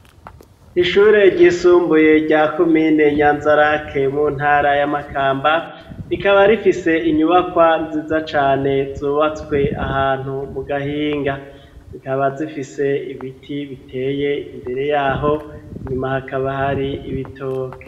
Ishure ryisumbuye rya kumine nyanzarake mu ntara y'amakamba rikaba rifise inyubakwa nziza cane zubatswe ahantu mu gahinga zikaba zifise ibiti biteye imbere yaho inyuma hakaba hoari ibitoke.